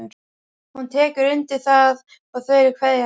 Hún tekur undir það og þau kveðjast.